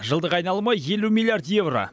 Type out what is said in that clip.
жылдық айналымы елу миллиард еуро